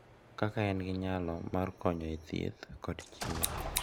Kaka en gi nyalo mar konyo e thieth kod chir